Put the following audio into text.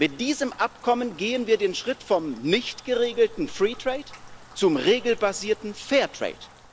Mit diesem Abkommen gehen wir den Schritt vom nicht geregelten free trade zum regelbasierten fair trade